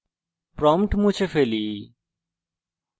prompt মুছে ফেলি